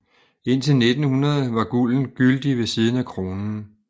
Indtil 1900 var gulden gyldig ved siden af kronen